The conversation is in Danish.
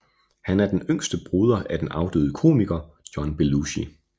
Han er den yngste broder af den afdøde komiker John Belushi